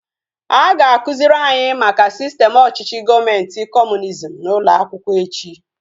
A ga-akụziri anyị maka sistem ọchịchị gọọmenti kọmunizm n'ụlọ akwụkwọ echi